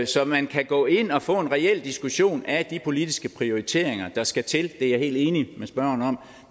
så man kan gå ind og få en reel diskussion af de politiske prioriteringer der skal til det er jeg helt enig med spørgeren